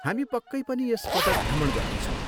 हामी पक्कै पनि यस पटक भ्रमण गर्नेछौँ।